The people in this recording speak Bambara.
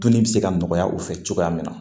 Dunni bɛ se ka nɔgɔya u fɛ cogoya min na